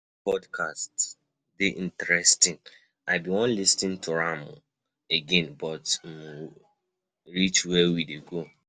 Dat podcast dey interesting, I bin wan lis ten to am again but we um reach where we dey go.